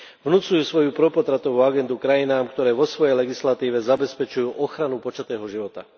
Vnucujú svoju propotratovú agendu krajinám, ktoré vo svojej legislatíve zabezpečujú ochranu počatého života.